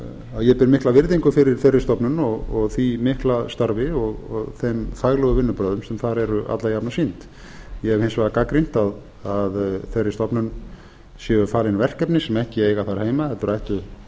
að ég ber mikla virðingu fyrir þeirri stofnun og því mikla starfi og þeim faglegu vinnubrögðum sem þar eru alla jafna sýnd ég hef hins vegar gagnrýnt að þeirri stofnun séu falin verkefni sem ekki eiga þar heima heldur ættu